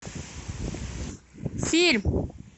фильм